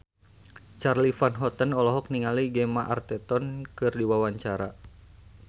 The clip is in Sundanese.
Charly Van Houten olohok ningali Gemma Arterton keur diwawancara